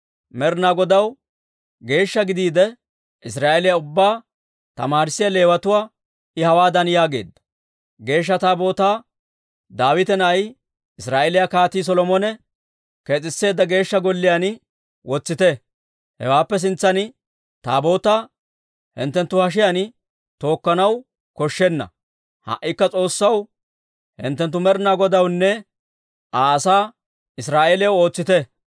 Med'inaa Godaw geeshsha gidiide, Israa'eeliyaa ubbaa tamaarissiyaa Leewatuwaa I hawaadan yaageedda; «Geeshsha Taabootaa Daawita na'ay, Israa'eeliyaa Kaatii Solomone kees'iseedda Geeshsha Golliyaan wotsite. Hawaappe sintsan Taabootaa hinttenttu hashiyaan tookkanaw koshshenna. Ha"ikka S'oossaw, hinttenttu Med'inaa Godawunne, Aa asaa Israa'eeliyaw ootsite.